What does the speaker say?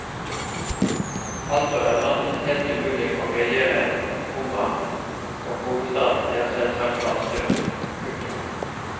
Altså er landet helt umulig å regjere, komma og hovedstaden er selvsagt vanstyrt. punktum